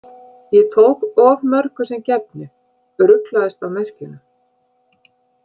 Ég tók of mörgu sem gefnu, ruglaðist á merkjunum.